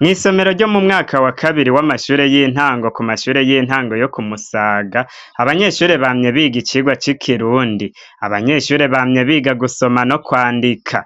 Mwisomero ryo mu mwaka wa kabiri wamashure y'intango ku mashure y'intango yo ku Musaga abanyeshure bamye biga icigwa c'ikirundi, abanyeshure bamye biga gusoma no kwandika